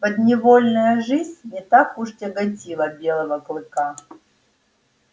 подневольная жизнь не так уж тяготила белого клыка